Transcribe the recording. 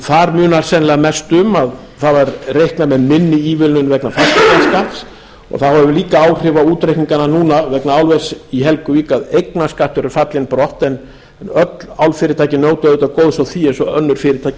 þar munar sennilega mestu um að það var reiknað með minni ívilnun vegna grundartanga og það hefur líka áhrif á útreikningana núna vegna álvers í helguvík að eignarskattur er fallinn brott en öll álfyrirtækin njóta auðvitað góðs af því eins og önnur fyrirtæki í